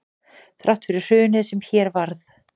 Þrátt fyrir hrunið sem hér varð